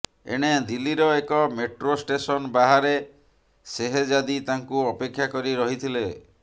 ଏଣେ ଦିଲ୍ଲୀର ଏକ ମେଟ୍ରୋ ଷ୍ଟେସନ ବାହାରେ ସେହେଜାଦି ତାଙ୍କୁ ଅପେକ୍ଷା କରି ରହିଥିଲେ